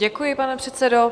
Děkuji, pane předsedo.